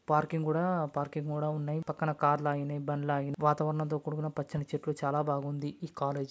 Parking కూడా parking కూడా ఉన్నాయ్. పక్కన కార్ లు ఆగినాయ్ బండ్లు ఆగినాయ్. వాతావరణం తో కూడిన పచ్చని చెట్లు చాలా బాగుంది ఈ కాలేజ్ .